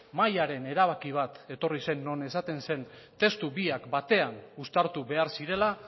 mahaiaren erabaki bat etorri zen non esaten zen testu biak batean uztartu behar zirela